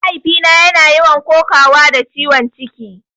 Mahaifina yana yawan kokawa da ciwon ciki